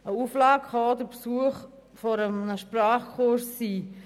Eine Auflage kann auch der Besuch eines Sprachkurses sein.